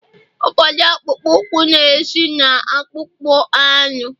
ụfọdụ akpụkpọ ụkwụ na-esi na akpụkpọ anụ